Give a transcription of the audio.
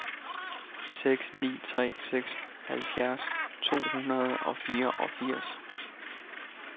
seks ni tre seks halvfjerds to hundrede og fireogfirs